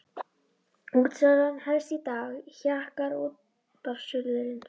Útsalan hefst í dag, hjakkar útvarpsþulurinn.